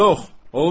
Yox, olmaz.